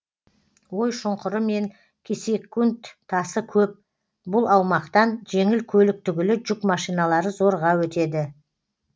ой шұңқыры мен кесекунд тасы көп бұл аумақтан жеңіл көлік түгілі жүк машиналары зорға өтеді